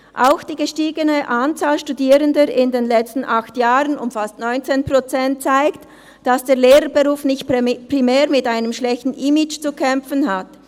Auch die gestiegene Anzahl der Studierenden in den letzten acht Jahren um fast 19 Prozent zeigt, dass der Lehrberuf nicht primär mit einem schlechten Image zu kämpfen hat.